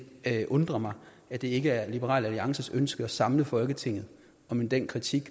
undrer mig at det ikke er liberal alliances ønske at samle folketinget om den kritik